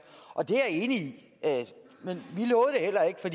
og det er jeg enig